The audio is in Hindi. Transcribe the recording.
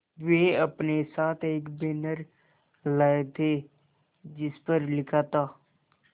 वे अपने साथ एक बैनर लाए थे जिस पर लिखा था